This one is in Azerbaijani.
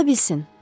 Ola bilsin.